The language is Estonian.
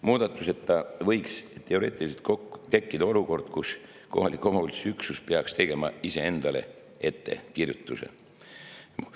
Muudatuseta võiks teoreetiliselt tekkida olukord, kus kohaliku omavalitsuse üksus peaks tegema ise endale ettekirjutuse.